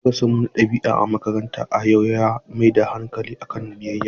Darasinmu na ɗabi'a a makaranta a yau ya mai da hankali kan biyayya.